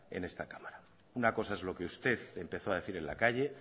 en esta cámara una cosa es lo que usted empezó a decir en la calle